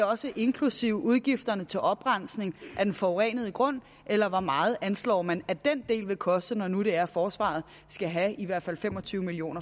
også inklusive udgifterne til oprensning af den forurenede grund eller hvor meget anslår man at den del vil koste når nu det er at forsvaret skal have i hvert fald fem og tyve million